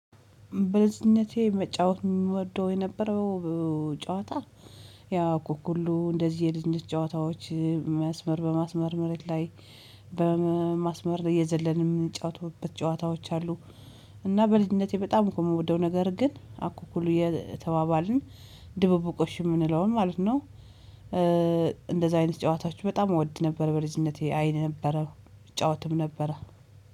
በልጅነቴ መጫወት የምወደው የነበረው ጨዋታ ያ አኩኩሉ እንደዚህ የልጅነት ጨዋታዎች መስመር በማስመር መሬት ላይ በማስመር እየዘለንን የምንጫወተውበት ጨዋታዎች አሉ። እና በልጅነቴ በጣም እኮ የምወደው ነገር ግን አኮኩሉ የተባባልን ድብብቆሽ የምንለውን ማለት ነው። እንደዛ አይነት ጨዋታዎች በጣም እወድ ነበር በልጅነቴ አይ ነበር እጫወትም ነበረ።